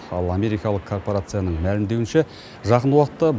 ал америкалық корпорацияның мәлімдеуінше жақын уақытта